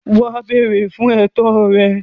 Wà á “ béèrè ” fún ẹ̀tọ́ rẹ.